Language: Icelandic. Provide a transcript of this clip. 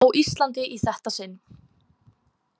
Á Íslandi í þetta sinn.